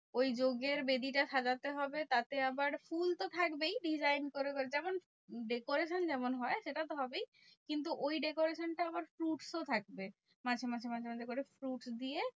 ওই যজ্ঞের বেদিটা সাজাতে হবে তাতে আবার ফুল তো থাকবেই design করে করে। যেমন decoration যেমন হয় সেটা তো হবেই। কিন্তু ওই decoration টা আবার fruits ও থাকবে। মাঝে মাঝে মাঝে মাঝে করে fruits দিয়ে।